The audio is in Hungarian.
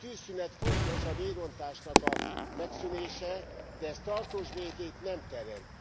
A tűzszünet fontos, a vérontásnak a megszűnése, de ez tartós békét nem teremt.